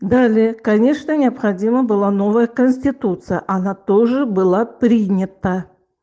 далее конечно необходима была новая конституция она тоже была принята